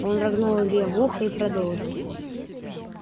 он рыгнул илье в ухо и продолжил